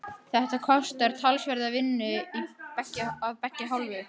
Þetta kostar talsverða vinnu af beggja hálfu.